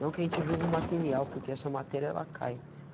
Não que a gente vive o material, porque essa matéria ela cai.